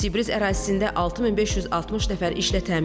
Sibris ərazisində 6560 nəfər işlə təmin olunub.